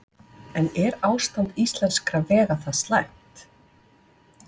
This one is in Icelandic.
En er ástand íslenskra vega það slæmt?